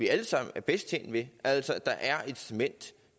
alle sammen er bedst tjent ved altså at der er incitament